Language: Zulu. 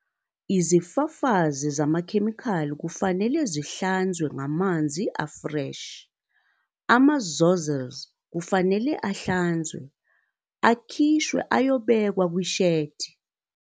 Izifafazi zamakhemikhali kufanele zihlanzwe ngamanzi afreshi, ama-zozzles kufanele ahlanzwe, akhishwe ayobekwa kwi-shedi.